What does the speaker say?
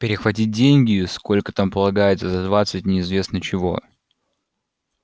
перехватить деньги сколько там полагается за двадцать неизвестно чего